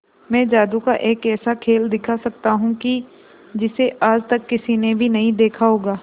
मैं जादू का एक ऐसा खेल दिखा सकता हूं कि जिसे आज तक किसी ने भी नहीं देखा होगा